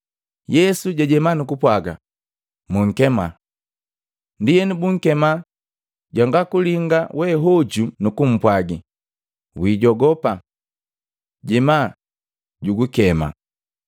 Yesu jajema nukupwaga, “Munkema.” Ndienu bunkema jwanga kulinga we hoju nukumpwagi, “Wijogopa! Jema, jugukema.”